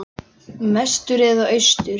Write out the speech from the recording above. Vestur eða austur?